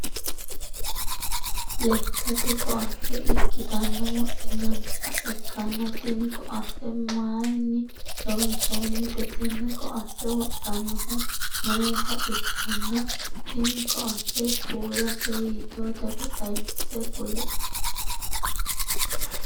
Lekate koate ikitanna wodhinanniha ikkanna tinni koate mayinni loonsoonnite? Tenne koate wodhanohu mayita ikkanna tinni koate kuulase hiitootero xawise kuli?